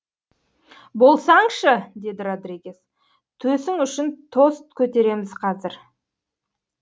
болсаңшы деді родригес төсің үшін тост көтереміз қазір